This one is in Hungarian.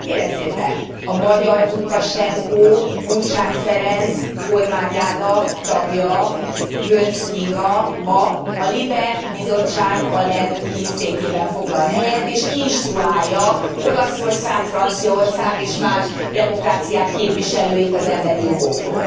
Kérem szépen, a magyar Lukasenko, Gyurcsány Ferenc kormányának tagja, Göncz Kinga a LIBE bizottság alelnöki székében foglal helyet, és instruálja Olaszország, Franciaország és más demokráciák képviselőit az emberi jogokról.